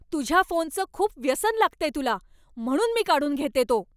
तुझ्या फोनचं खूप व्यसन लागतंय तुला, म्हणून मी काढून घेतेय तो.